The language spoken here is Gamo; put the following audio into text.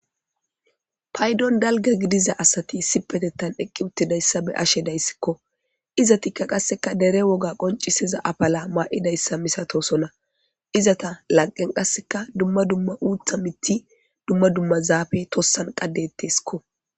paydon dalga gidiza asati sipetettan eqqi uttidayssa be ashe dayssikko izatikka qasseka dere woga qoncisiza apala maa7idayssa misatosona izata laqen qasseka dumma dumma uutha mitti dumma dumma zaafe tossan qaddetteskko